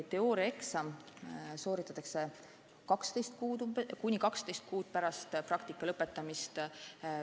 Teooriaeksam tuleb sooritada kuni 12 kuu jooksul pärast praktika lõpetamist.